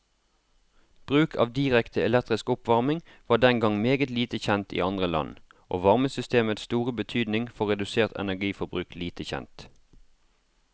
Bruk av direkte elektrisk oppvarming var den gang meget lite kjent i andre land, og varmesystemets store betydning for redusert energiforbruk lite kjent.